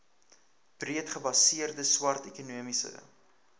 breedgebaseerde swart ekonomiese